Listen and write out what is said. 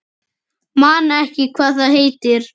Man ekki hvað það heitir.